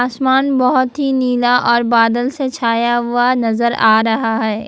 आसमान बहुत ही नीला और बादल से छाया हुआ नजर आ रहा है।